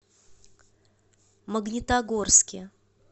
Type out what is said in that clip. магнитогорске